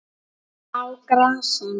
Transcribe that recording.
Á grasinu?